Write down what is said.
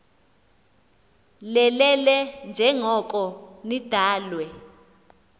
lelele njengoko nidalwe